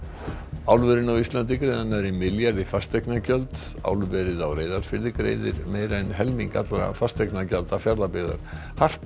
álverin á Íslandi greiða nærri milljarð í fasteignagjöld í álverið á Reyðarfirði greiðir meira en helming allra fasteignagjalda Fjarðabyggðar harpa